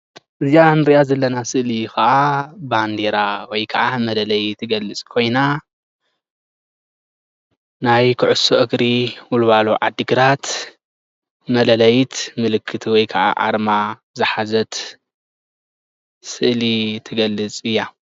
እዚአ ንሪአ ዘለና ስእሊ ከዓ ባንዴራ ወይ ከዓ መለለዪ ትገልፅ ኮይና ናይ ኩዕሶ እግሪ ወልዋሎ ዓዲ ግራት መለለዪት ምልክት ወይካዓ አርማ ዝሓዘት ስእሊ ትገልፅ እያ።